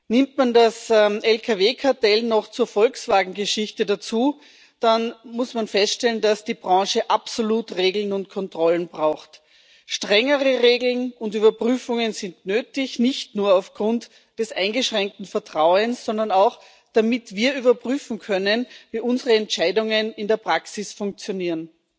Nimmt man das Lkw Kartell noch zur Volkswagen Geschichte dazu, dann muss man feststellen, dass die Branche absolut Regeln und Kontrollen braucht. Strengere Regeln und Überprüfungen sind nötig, nicht nur aufgrund des eingeschränkten Vertrauens, sondern auch, damit wir überprüfen können, wie unsere Entscheidungen in der Praxis funktionieren.